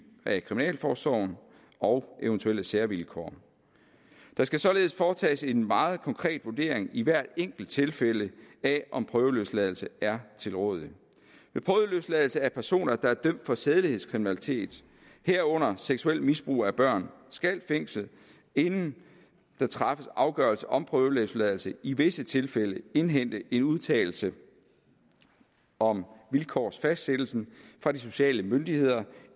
af kriminalforsorgen og eventuelle særvilkår der skal således foretages en meget konkret vurdering i hvert enkelt tilfælde af om prøveløsladelse er tilrådelig ved prøveløsladelse af personer der er dømt for sædelighedskriminalitet herunder for seksuelt misbrug af børn skal fængslet inden der træffes afgørelse om prøveløsladelse i visse tilfælde indhente en udtalelse om vilkårsfastsættelsen fra de sociale myndigheder